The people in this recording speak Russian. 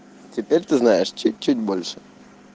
теперь ты знаешь чуть-чуть больше